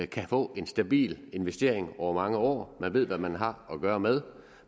kan få en stabil investering over mange år man ved hvad man har at gøre med